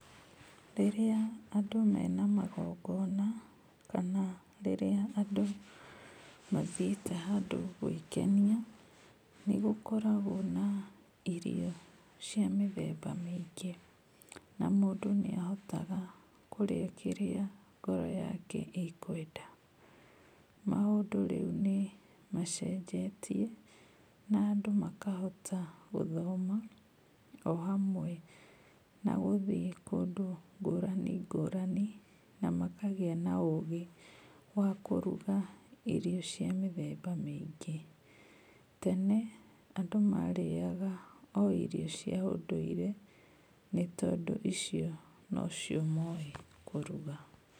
Rĩrĩa andũ mena magongona, kana rĩrĩa andũ mathiĩte handũ gwĩkenia, nĩ gũkoragwo na irio cia mĩthemba mĩingĩ, na mũndũ nĩ ahotaga kũrĩa kĩrĩa ngoro yake ĩkwenda. Maũndũ rĩu nĩ macenjetie, na andũ makahota gũthoma o hamwe na gũthiĩ kũndũ ngũrani ngũrani, na makagĩa na ũgĩ wa kũruga irio cia mĩthemba mĩingĩ. Tene andũ marĩaga o irio cia ũndũire, nĩ tondũ icio nocio moĩ kũruga.